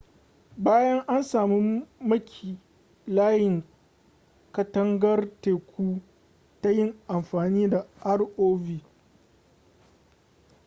bayan an samu maki layin katangar teku ta yin amfani da rov